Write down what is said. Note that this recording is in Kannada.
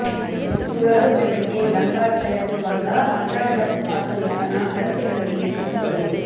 ನೂರಾರು ಜನರಿಗೆ ಲಂಗಾರ್ ತಯಾರಿಸುವಾಗ ಅಟಾ ಡಫ್ ಪಾಕವಿಧಾನ ಅಳತೆಗಳನ್ನು ಹೆಚ್ಚಿಸುತ್ತದೆ